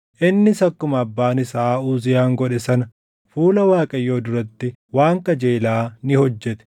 Innis akkuma abbaan isaa Uziyaan godhe sana fuula Waaqayyoo duratti waan qajeelaa ni hojjete.